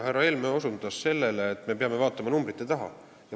Härra Helme osutas sellele, et me peame vaatama numbrite taha.